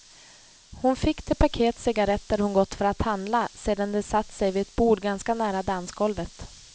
Hon fick det paket cigaretter hon gått för att handla sedan de satt sig vid ett bord ganska nära dansgolvet.